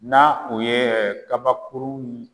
N"a u ye kabakurunw